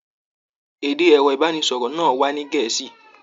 Èdè ẹrọ ibaraẹnisọrọ náà wà ní Gẹ̀ẹ́sì.